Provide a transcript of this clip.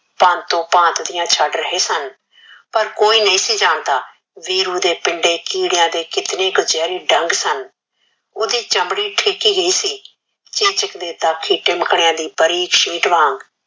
ਭਾਂਤੋ ਭਾਂਤ ਦੀਆਂ ਸਡ ਰਹੇ ਸਨ ਪਰ ਕੋਈ ਨਹੀ ਸੀ ਜਾਣਦਾ ਵੀਰੂ ਦੇ ਪਿੰਡੇ ਕਿਡਇਆ ਦੇ ਕਿਤਨੇ ਜ੍ਹਰੇ ਡੰਗ ਸਨ ਓਹਦੀ ਚਮੜੀ ਫਿਕੀ ਹੀ ਸੀ ਚੇਚਕ ਦੇ ਦਾਖੀ ਟੇਮ੍ਕ੍ਨ੍ਯ ਦੇ ਬਾਰਿਕ ਸ਼ੇਡ ਵਾਂਗ